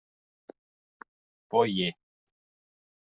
Bogi